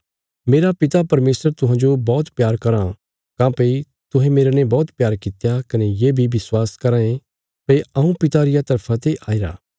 मेरा पिता परमेशर तुहांजो बौहत प्यार कराँ काँह्भई तुहें मेरने बौहत प्यार कित्या कने ये बी विश्वास कराँ ये भई हऊँ पिता रिया तरफा ते आईरा